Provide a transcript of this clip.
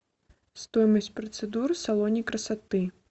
стоимость процедур в салоне красоты